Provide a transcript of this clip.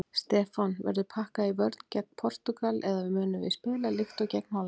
Stefán: Verður pakkað í vörn gegn Portúgal eða munum við spila líkt og gegn Hollandi?